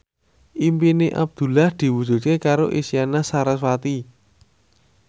impine Abdullah diwujudke karo Isyana Sarasvati